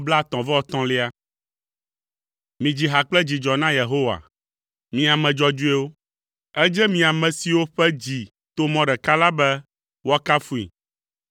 Midzi ha kple dzidzɔ na Yehowa, mi ame dzɔdzɔewo; edze mi ame siwo ƒe dzi to mɔ ɖeka la be woakafui.